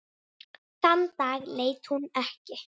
Þann dag leit hún ekki.